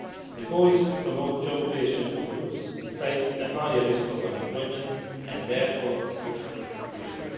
The goal is to promote job creation for groups who face a higher risk of unemployment and, therefore, of social exclusion.